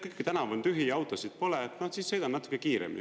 Tänavu on tühi, autosid pole, siis sõidan natukene kiiremini.